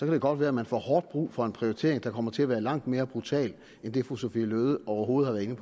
det godt være man får hårdt brug for en prioritering der kommer til at være langt mere brutal end det fru sophie løhde overhovedet har